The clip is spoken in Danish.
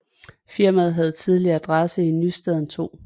Firmaet havde tidligere adresse i Nystaden 2